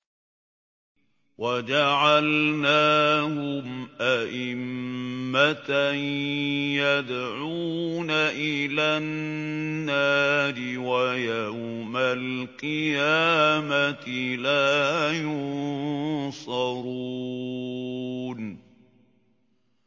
وَجَعَلْنَاهُمْ أَئِمَّةً يَدْعُونَ إِلَى النَّارِ ۖ وَيَوْمَ الْقِيَامَةِ لَا يُنصَرُونَ